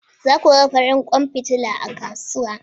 Za ku ga farin kwan fitila a kasuwa